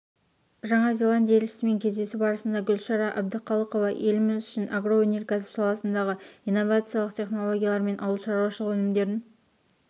жаңа зеландия елшісімен кездесу барысында гүлшара әбдіқалықова еліміз үшін агроөнеркәсіп саласындағы инновациялық технологиялар мен ауылшаруашылық өнімдерін